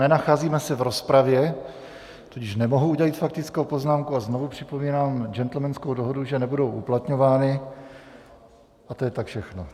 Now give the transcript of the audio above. Nenacházíme se v rozpravě, tudíž nemohu udělit faktickou poznámku, a znovu připomínám džentlmenskou dohodu, že nebudou uplatňovány, a to je tak všechno.